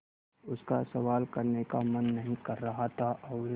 उसका सवाल करने का मन नहीं कर रहा था और